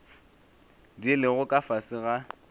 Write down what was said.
di lego ka fase ga